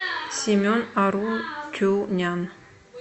семен арутюнян